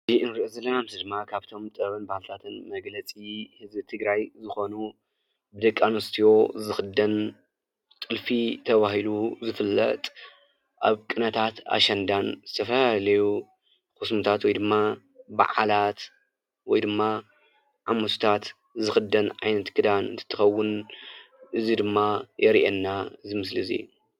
እዚ ንሪኦ ዘለና ምስሊ ድማ ጥበብን ባህልታትን መግለፂ ህዝቢ ትግራይ ዝኾኑ ብደቂ ኣነስትዮ ዝኽደን ጥልፊ ተባሂሉ ዝፍለጥ ኣብ ቅነታት ኣሸንዳን ዝተፈላለዩ ኩስምታት ወይ ድማ በዓላት ወይ ድማ ኣብ ሙስታት ዝኽደን ዓይነት ክዳን እንትኸውን እዚ ድማ የርኤና እዚ ምስሊ እዚ፡፡